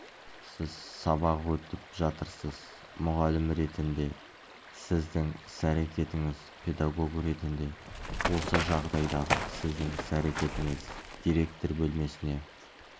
сіз сабақ өтіп жатырсыз мұғалім ретінде сіздің іс-әрекетіңіз педагог ретінде осы жағдайдағы сіздің іс-әрекетіңіз директор бөлмесіне